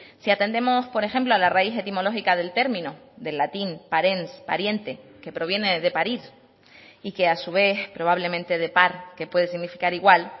si atendemos por ejemplo a la raíz etimológica del término del latín parens pariente que proviene de parís y que a su vez probablemente de par que puede significar igual